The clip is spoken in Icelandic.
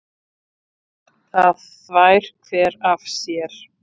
Það þvær hver af sér.